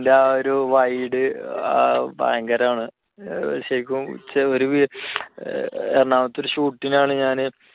അതിൻറെ ആ ഒരു wide ഭയങ്കരമാണ് ശരിക്കും എറണാകുളത്തെ ഒരു shoot ലാണ് ഞാന്